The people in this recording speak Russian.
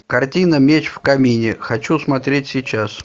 картина меч в камине хочу смотреть сейчас